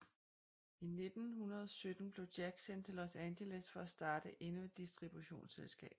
I 1917 blev Jack sendt til Los Angeles for at starte endnu et distributionsselskab